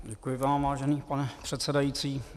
Děkuji vám, vážený pane předsedající.